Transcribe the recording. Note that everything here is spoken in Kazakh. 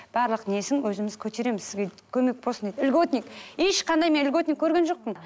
барлық несін өзіміз көтереміз сізге көмек болсын деді льготник ешқандай мен льготник көрген жоқпын